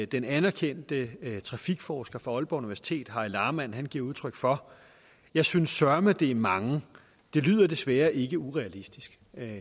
den anerkendte trafikforsker fra aalborg universitet harry lahrmann giver udtryk for jeg synes søreme det er mange det lyder desværre ikke urealistisk